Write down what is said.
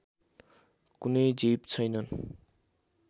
कुनै जीव छैनन्